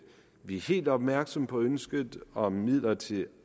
vi er helt opmærksomme på ønsket om midler til